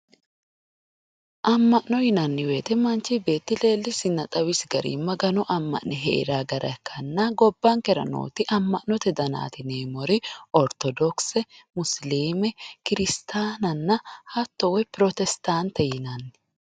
Ama'no yinanni woyte manchi beetti leelisinna xawisi garinni Magano ama'ne heerano gara ikkanna gobbankera nooti ama'note daniti yineemmori orthodokise musilime kiristananna hatto woyi prosittate yinanni.